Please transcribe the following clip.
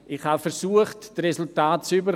Ich habe versucht, die Resultate zu erhalten.